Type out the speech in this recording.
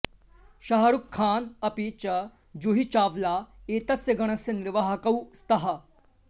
शाह् रूख् खान् अपि च जूही चाव्ला एतस्य गणस्य निर्वाहकौ स्तः